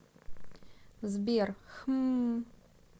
сбер хммм